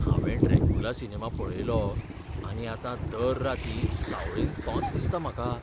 हावें ड्रॅकुला सिनेमा पळयलो आनी आतां दर रातीं सावळेंत तोच दिसता म्हाका.